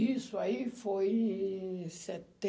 Isso aí foi em em